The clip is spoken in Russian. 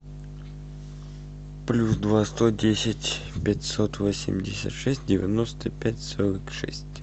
плюс два сто десять пятьсот восемьдесят шесть девяносто пять сорок шесть